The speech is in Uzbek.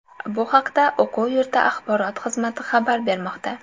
Bu haqda o‘quv yurti axborot xizmati xabar bermoqda .